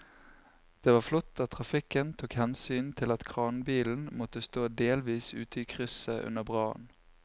Det var flott at trafikken tok hensyn til at kranbilen måtte stå delvis ute i krysset under brannen.